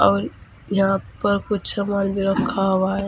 और यहां पर कुछ सामान भी रखा हुआ है।